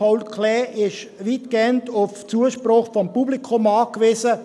Das ZPK ist weitgehend auf den Zuspruch des Publikums angewiesen.